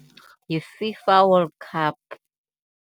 YiFIFA World Cup.